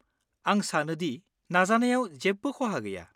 आं सानो दि नाजानायाव जेबो खहा गैया।